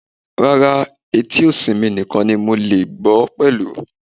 Rara, eti osí mí nikan mo le gbọ pẹlu